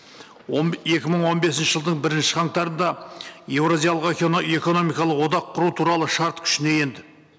екі мың он бесінші жылдың бірінші қаңтарында еуразиялық экономикалық одақ құру туралы шарт күшіне енді